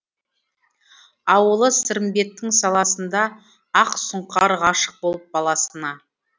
ауылы сырымбеттің саласында ақ сұңқар ғашық болып баласына